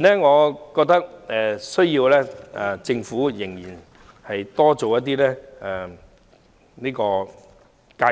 我認為政府目前仍要多做介